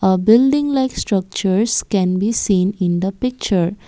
a building like structure can be seen in the picture.